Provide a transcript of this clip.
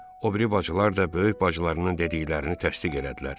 O biri bacılar da böyük bacılarının dediklərini təsdiq elədilər.